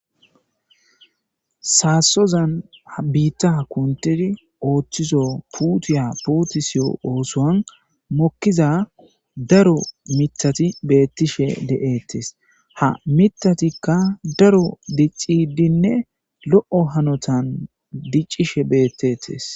Sassoza ha biita kunthiddi oththizo puutetiya osson mokiza daro miththati betishe de'etees. Ha miththatikka daro diccidinne lo'o hanotani diccishe betetees.